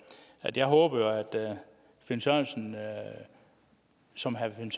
at jeg håber at herre finn sørensen som herre finn